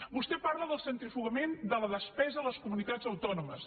vostè parla de la centrifugació de la despesa a les comunitats autònomes